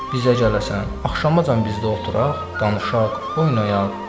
Bizə gələsən, axşamacan bizdə oturaq, danışaq, oynayaq.